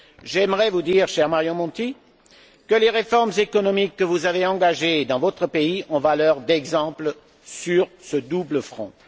J'aimerais vous dire, cher Mario Monti, que les réformes économiques que vous avez engagées dans votre pays ont valeur d'exemple sur ce double front.